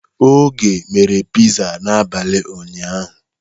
Oge mere Piza n'abalị ụnyaahụ.